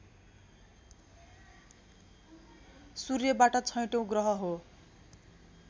सूर्यबाट छैटौं ग्रह हो